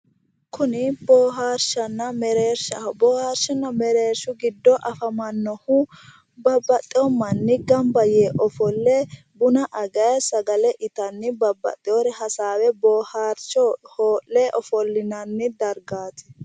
Kuni boohaarshshanna mereershaho boohaarshuno mereershshu giddo afamannohu babbaxxewo manni gamba yee ofolle buna agayi sagale itanni babbaxewoore hasaawe boohaarcho hoo'le ofollonanni dargaati.